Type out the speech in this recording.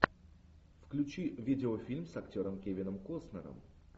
включи видеофильм с актером кевином костнером